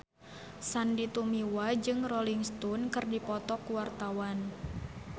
Sandy Tumiwa jeung Rolling Stone keur dipoto ku wartawan